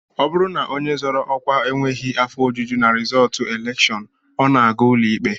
Ọ bụrụ na onye zọrọ ọkwa enweghị afọ ojuju na rizọọtụ elekshọn, ọ na-aga ụlọikpe